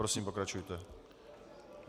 Prosím, pokračujte.